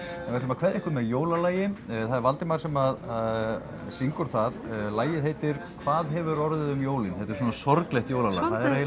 við ætlum að kveðja ykkur með jólalagi það er Valdimar sem syngur það lagið heitir hvað hefur orðið um jólin þetta er svona sorglegt jólalag